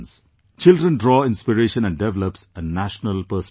Children draw inspiration and develops a national perspective